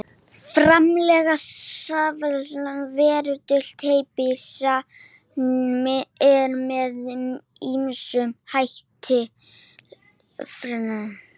Ég heyri betur í þér um helgina, sagði hann.